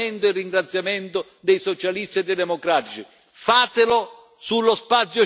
Fatelo, e avrete l'apprezzamento e il ringraziamento dei Socialisti e Democratici.